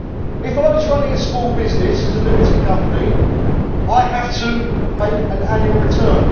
If I was running a small business as a limited company, I would have to make an annual return.